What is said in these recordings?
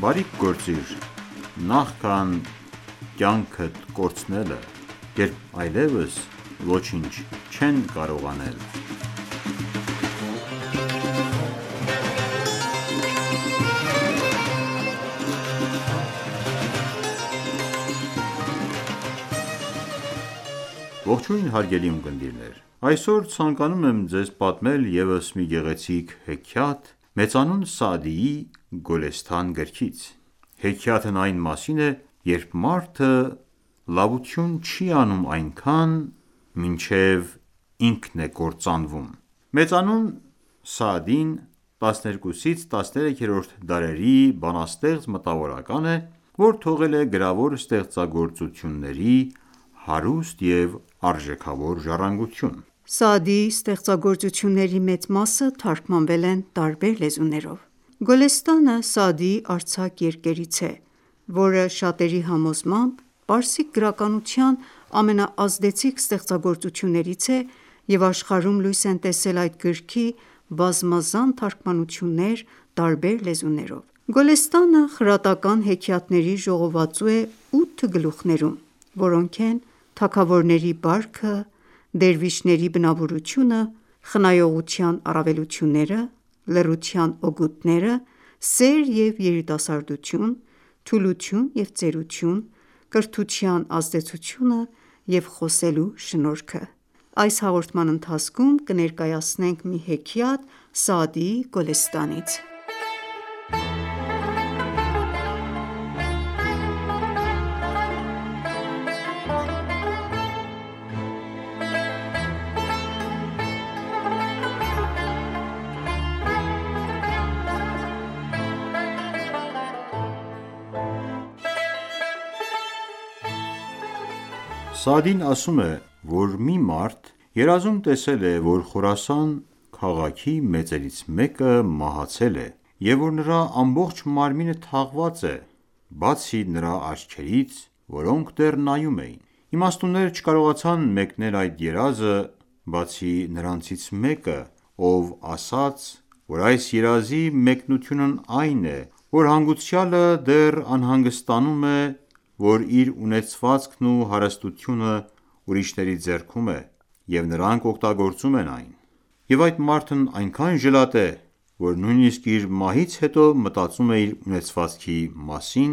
Բարիք գործիր, նախքան կյանքդ կորցնելը, երբ այլևս ոչինչ չես կարող անել: Ողջույն հարգելի ունկնդիրներ: Այսօր ցանկանում եմ ձեզ պատմել ևս մի գեղեցիկ հեքիաթ մեծանուն Սաադիի Գոլեսթան գրքից: Հեքիաթն այն մասին է, երբ մարդը լավություն չի անում այնքան, մինչև ինքն է կործանվում: Մեծանուն Սաադին 12-13-րդ դարերի բանաստեղծ-մտավորական է, որ թողել է գրավոր ստեղծագործությունների հարուստ և արժեքավոր ժառանգություն: Սաադիի ստեղծագործությունների մեծ մասը թարգմանվել են տարբեր լեզուներով: Գոլեսթանը Սաադիի արձակ երկերից է, որը շատերի համոզմամբ պարսիկ գրականության ամենաազդեցիկ ստեղծագործություններից է և աշխարհում լույս են տեսել այդ գրքի բազմազան թարգմանություններ տարբեր լեզուներով: Գոլեսթանը խրատական հեքիաթների ժողովածու է ութ գլուխներում, որոնք են՝ «թագավորների բարքը», «դերվիշների բնավորությունը», «խնայողության առավելությունները», «լռության օգուտները», «սեր և երիտասարդություն», «Թուլություն և ծերություն», «Կրթության ազդեցությունը» և «Խոսելու շնորհքը»։ Այս հաղորդման ընթացքում կներկայացնենք մի հեքիաթ Սաադիի Գոլեսթանից: Մի հեքիաթ Սաադիի Գոլեսթանից Սաադին ասում է, որ մի մարդ երազում տեսել է, որ Խորասան քաղաքի մեծերից մեկը մահացել է, և որ նրա ամբողջ մարմինը թաղված է, բացի նրա աչքերից, որոնք դեռ նայում էին: Իմաստունները չկարողացան մեկնել այդ երազը, բացի նրանցից մեկը ով ասաց, որ այս երազի մեկնությունն այն է, որ հանգուցյալը դեռ անհանգստանում է, որ իր ունեցվածքն ու հարստությունը ուրիշների ձեռքում է, և նրանք օգտագործում են այն: Եվ այդ մարդն այնքան ժլատ է, որ նույնիսկ իր մահից հետո մտածում է իր ունեցվածքի մասին,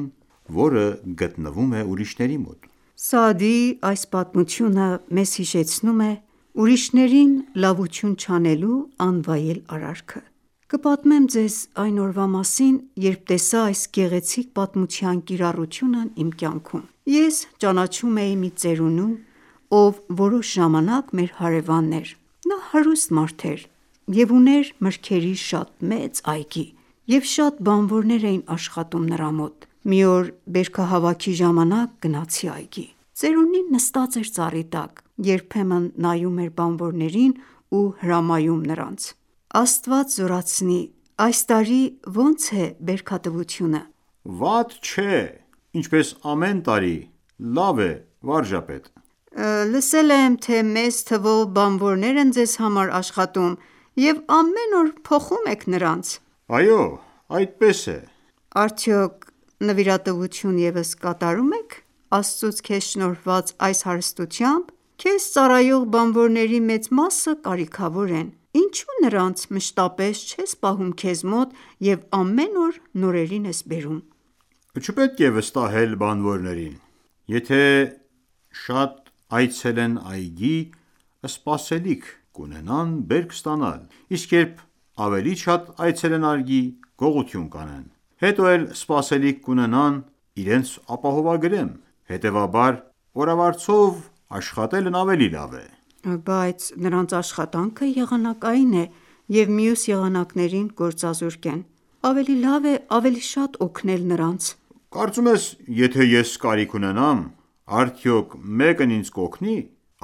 որը գտնվում է ուրիշների մոտ։ Պատմիչ- Սաադիի այս պատմությունը մեզ հիշեցնում է ուրիշներին լավություն չանելու անվայել արարքը: Կպատմեմ ձեզ այն ​​օրվա մասին, երբ տեսա այս գեղեցիկ պատմության կիրառությունն իմ կյանքում։ Ես ճանաչում էի մի ծերունու, ով որոշ ժամանակ մեր հարեւանն էր: Նա հարուստ մարդ էր և ուներ մրգերի շատ մեծ այգի, և շատ բանվորներ էին աշխատում նրա մոտ: Մի օր բերքահավաքի ժամանակ գնացի այգի։ Ծերունին նստած էր ծառի տակ, երբեմն նայում էր բանվորներին ու հրամայում նրանց: Պատմիչ- Աստված զորացնի, այս տարի ոնց է բերքատվությունը: Ծերունի- Վատ չէ: Ինչպես ամեն տարի լավ է, պրն. վարժապետ: Պատմիչ- Լսել եմ, թե մեծ թվով բանվորներ են ձեզ համար աշխատում և ամեն օր փոխում եք նրանց: Ծերունի- Այո, այդպես է: Պատմիչ- Արդյոք նվիրատվություն ևս կատարում ես Աստծուց քեզ շնորհված այս հարստությամբ:Քեզ ծառայող բանվորների մեծ մասը կարիքավոր են: Ինչու նրանց մշտապես չես պահում քեզ մոտ և ամեն օր նորերին բերում: Ծերունի- Չպետք է վստահել բանվորներին։ Եթե շատ այցել են այգի, սպասելիք կունենան բերք ստանալ, իսկ երբ ավելի շատ այցել են այգի, գողություն կանեն: Հետո էլ սպասելիք կունենան իրենց ապահովագրեմ: Հետևաբար օրավարձով աշխատելն ավելի լավ է: Պատմիչ- Բայց նրանց աշխատանքը եղանակային է և մյուս եղանակներին գործազուրկ են: Ավելի լավ է ավելի շատ օգնել նրանց: Ծերունի- Կարծում ես եթե ես կարիք ունենամ, արդյոք մեկն ինձ կօգնի: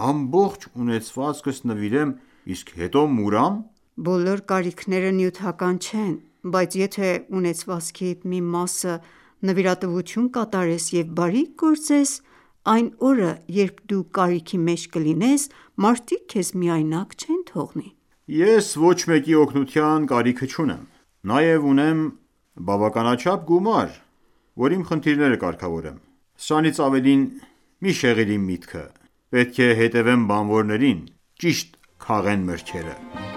Ամբողջ ունեցվածքս նվիրեմ, իսկ հետո մուրամ: Պատմիչ- Բոլոր կարիքները նյութական չեն: Բայց եթե ունեցվածքիդ մի մասը նվիրատվություն կատարես և բարիք գործես, այն օրը, երբ դու կարիքի մեջ կլինես մարդիկ քեզ միայնակ չեն թողնի: Ծերունի- Ես ոչ մեկի օգնության կարիքը չունեմ: Նաև ունեմ բավականաչափ գումար, որ իմ խնդիրները կարգավորեմ: Սրանից ավելին մի շեղիր իմ միտքը: Պետք է հետևեմ բանվորներին, ճիշտ քաղեն մրգերը: Պատմիչ-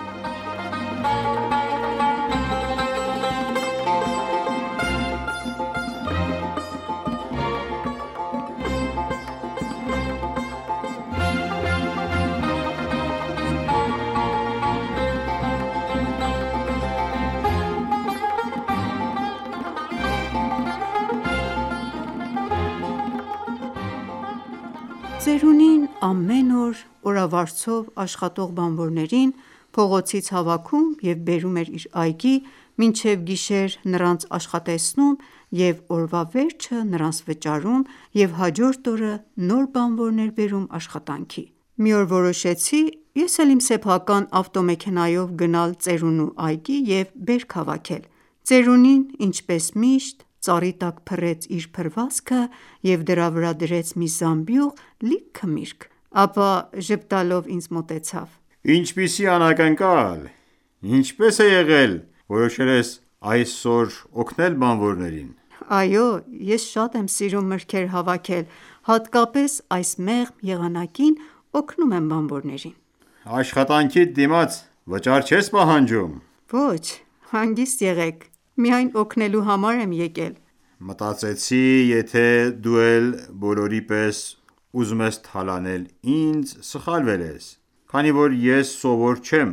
Ծերունին ամեն օր օրավարձով աշխատող բանվորներին փողոցից հավաքում և բերում իր այգի, մինչև գիշեր նրանց աշխատեցնում և օրվա վերջը նրանց վճարում և հաջորդ օրը նոր բանվորներ բերում աշխատանքի: Մի օր որոշեցի ես էլ իմ սեփական ավտոմեքենայով գնալ ծերունու այգի և բերք հավաքել: Ծերունին ինչպես միշտ ծառի տակ փռեց իր փռվածքը և դրա վրա դրեց մի զամբյուղ լիքը միրգ: Ապա ժպտալով ինձ մոտեցավ: Ծերունի- Ինչպիսի անակնկալ: Ինչպես է եղել որոշել ես այսօր օգնել բանվորներին: Պատմիչ- Այո, ես շատ եմ սիրում մրգեր հավաքել, հատկապես այս մեղմ եղանակին օգնում եմ բանվորներին: Ծերունի- Աշխատանքիդ դիմաց վճար չես պահանջում: Պատմիչ- Ոչ հանգիստ եղեք, միայն օգնելու համար եմ եկել: Ծերունի- Մտածեցի, եթե դու էլ բոլորի պես ուզում ես թալանել ինձ, սխալվել ես, քանի որ ես սովոր չեմ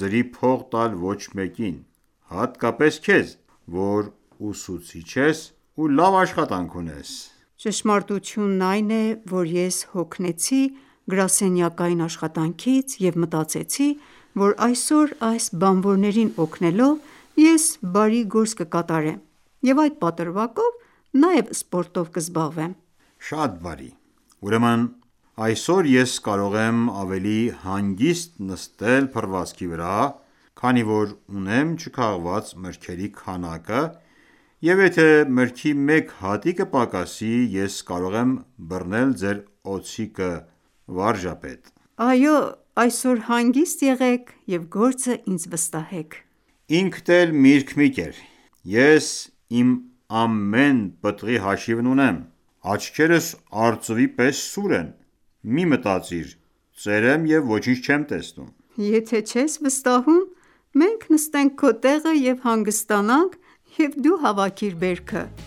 ձրի փող տալ ոչ մեկին, հատկապես քեզ, որ ուսուցիչ ես ու լավ աշխատանք ունես։ Պատմիչ- Ճշմարտությունն այն է, որ ես հոգնեցի գրասենյակային աշխատանքից և մտածեցի, որ այսօր այս բանվորներին օգնելով, ես բարի գործ կկատարեմ և այդ պատրվակով նաև սպորտով կզբաղվեմ: Ծերունի- Շատ բարի, ուրեմն այսօր ես կարող եմ ավելի հանգիստ նստել փռվածքի վրա, քանի որ ունեմ չքաղված մրգերի քանակը, և եթե մրգի մեկ հատիկը պակասի, ես կարող եմ բռնել ձեր օձիքը, պարոն վարժապետ։ Պատմիչ- Այո, այսօր հանգիստ եղեք և գործը ինձ վստահեք: Ծերունի- Ինքդ էլ միրգ մի կեր, ես իմ ամեն մի պտղի հաշիվն ունեմ, աչքերս արծվի պես սուր են, մի մտածիր, ծեր եմ և ոչինչ չեմ տեսնում։ Պատմիչ- Եթե չես վստահում, մենք նստենք քո տեղը և հանգստանանք և դու հավաքիր բերքը: Պատմիչ-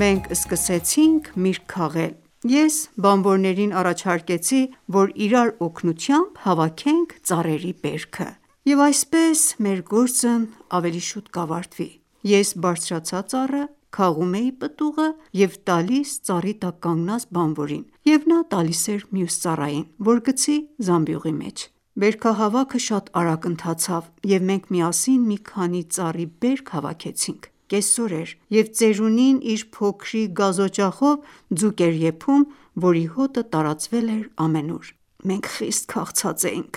Մենք սկսեցինք միրգ քաղել, ես աշխատողներին առաջարկեցի, որ իրար օգնությամբ հավաքենք ծառերի բերքը, և այսպես մեր գործն ավելի շուտ կավարտվի: Ես բարձրացա ծառը, քաղում էի պտուղը և տալիս ծառի տակ կանգնած բանվորին և նա տալիս էր մյուս ծառային, որ գցի զամբյուղի մեջ։ Բերքահավաքը շատ արագ ընթացավ և մենք միասին մի քանի ծառի բերք հավաքեցինք: Կեսօր էր, և ծերունին իր փոքրիկ գազօջախով ձուկ էր եփում, որի հոտը տարածվել էր ամենուր: Մենք խիստ քաղցած էինք: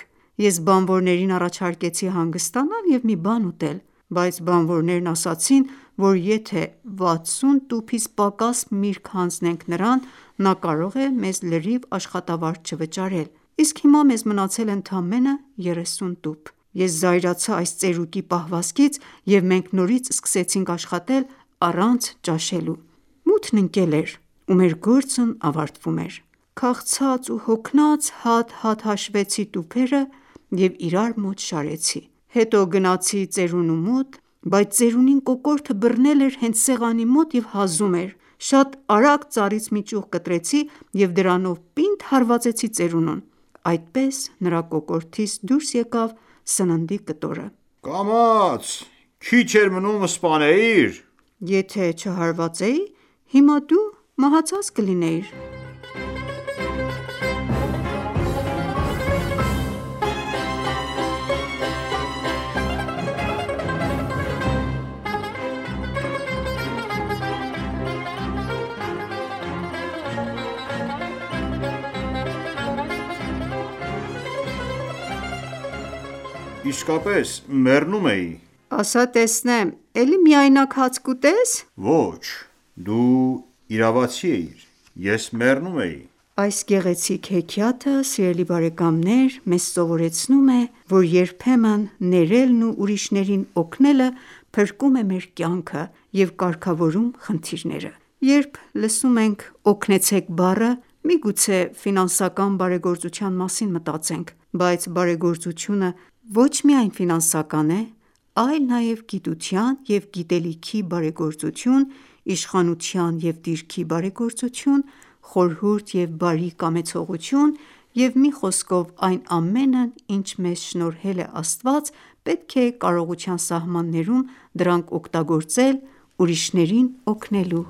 Ես բանվորներին առաջարկեցի հանգստանալ և մի բան ուտել, բայց բանվորներն ասացին, որ եթե 60 տուփից պակաս միրգ հանձնենք նրան, նա կարող է մեզ լրիվ աշխատավարձ չվճարել, իսկ հիմա մեզ մնացել է ընդամենը երեսուն տուփ: Ես զայրացա այս ծերուկի պահվածքից և մենք նորից սկսեցինք աշխատել առանց ճաշի: Մութն ընկել էր ու մեր գործն ավարտվում էր։ Քաղցած ու հոգնած հատ-հատ հաշվեցի տուփերը և իրար մոտ շարեցի։ Հետո գնացի ծերունու մոտ, բայց ծերունին կոկորդը բռնել էր հենց սեղանի մոտ և հազում էր: Շատ արագ ծառից մի ճյուղ կտրեցի և դրանով պինդ հարվածեցի ծերունուն: Այդպես նրա կոկորդից դուրս եկավ սննդի կտորը: Ծերուկ- Կամաց, քիչ էր մնում սպանեիր: Պատմիչ- Եթե չհարվածեի, հիմա դու մահացել էիր: Ծերուկ- Իսկապես մեռնում էի: Պատմիչ- ասա տեսնեմ էլի միայնակ հաց կուտես: Ծերուկ-Ոչ դու իրավացի էիր:Ես մեռնում էի։ Այս գեղեցիկ հեքիաթը մեզ սովորեցնում է, որ երբեմն ներելն ու ուրիշներին օգնելը փրկում է մեր կյանքը և կարգավորում է խնդիրները: Երբ լսում ենք օգնեցեք բառը, միգուցե ֆինանսական բարեգործության մասին մտածենք, բայց բարեգործությունը ոչ միայն ֆինանսական է, այլ նաև գիտության և գիտելիքի բարեգործություն, իշխանության և դիրքի բարեգործություն, խորհուրդ և բարի կամեցողություն, և մի խոսքով այն ամենն ինչ մեզ շնորհել է Աստված, պետք է կարողության սահմաններում դրանք օգտագործել ուրիշներին օգնելու